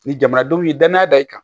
Ni jamanadenw ye danaya da i kan